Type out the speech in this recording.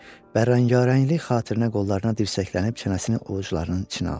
Bərrakaranəlik xatirinə qollarına dirsəklənib çənəsini ovucularının içinə aldı.